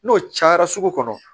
N'o cayara sugu kɔnɔ